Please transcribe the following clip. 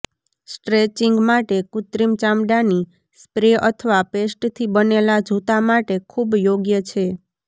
stretching માટે કૃત્રિમ ચામડાની સ્પ્રે અથવા પેસ્ટથી બનેલા જૂતા માટે ખૂબ યોગ્ય છે